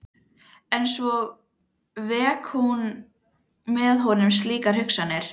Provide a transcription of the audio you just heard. En svo veki hún með honum slíkar hugsanir.